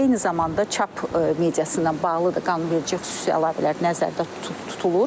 Eyni zamanda çap mediası ilə bağlı da qanunverici xüsusi əlavələr nəzərdə tutulur.